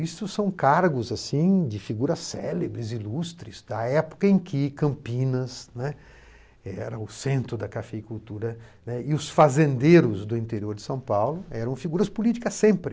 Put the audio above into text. Isso são cargos, assim, de figuras célebres, ilustres, da época em que Campinas, né, era o centro da cafeicultura e os fazendeiros do interior de São Paulo eram figuras políticas sempre.